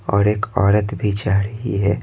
और एक औरत भी जा रही है।